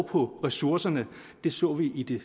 på ressourcerne det så vi i det